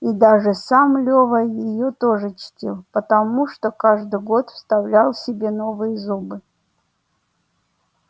и даже сам лева её тоже чтил потому что каждый год вставлял себе новые зубы